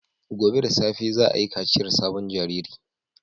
Gobe ​​da safe za a yi kaciyar sabon jariri